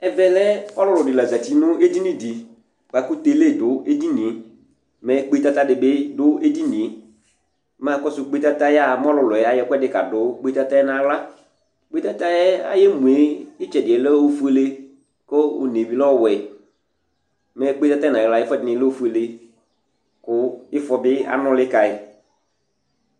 Ɛvɛ lɛ ɔlʋlʋ dɩ la zati nʋ edini dɩ bʋa kʋ tele dʋ edini yɛ, mɛ kpetata dɩ bɩ dʋ edini yɛ, mɛ akɔsʋ kpetata yɛ mɛ ɔlʋlʋ yɛ ayɔ ɛkʋɛdɩ kadʋ kpetata yɛ nʋ aɣla Kpetata yɛ ayʋ emu yɛ, ɩtsɛdɩ yɛ lɛ ofuele kʋ one bɩ lɛ ɔwɛ, mɛ kpetata yɛ nʋ ayɩɣla lɛ ofuele kʋ ɩfɔ bɩ anʋlɩ ka yɩ